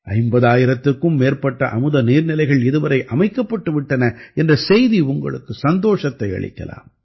50000த்திற்கும் மேற்பட்ட அமுத நீர்நிலைகள் இதுவரை அமைக்கப்பட்டு விட்டன என்ற செய்தி உங்களுக்கு சந்தோஷத்தை அளிக்கலாம்